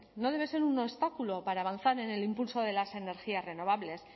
no debe ser un obstáculo para avanzar en el impulso de las energías renovables